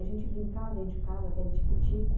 A gente brincava dentro de casa, até de tico-tico.